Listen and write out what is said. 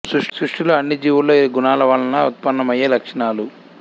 సృష్టిలో అన్ని జీవులలో ఈ గుణాల వలన ఉత్పన్నమయ్యే లక్షణాలు